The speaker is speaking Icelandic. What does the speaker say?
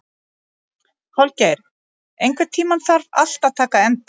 Holgeir, einhvern tímann þarf allt að taka enda.